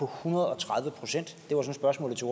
hundrede og tredive procent det var det spørgsmålet til